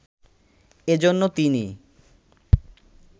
এজন্য তিনি